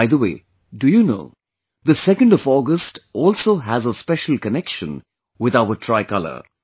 By the way, do you know, 2nd of August also has a special connection with our tricolor